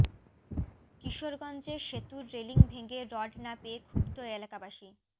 কিশোরগঞ্জে সেতুর রেলিং ভেঙে রড না পেয়ে ক্ষুব্ধ এলাকাবাসী